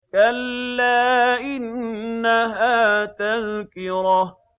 كَلَّا إِنَّهَا تَذْكِرَةٌ